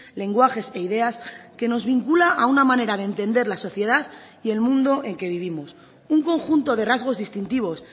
lenguajes e ideas que nos vincula a una manera de entender la sociedad y el mundo en que vivimos un conjunto de rasgos distintivos